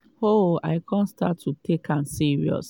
oh i kon start to take am serious.